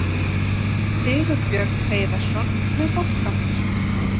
Sigurbjörn Hreiðarsson með boltann.